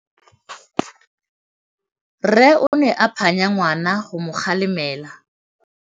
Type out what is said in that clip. Rre o ne a phanya ngwana go mo galemela.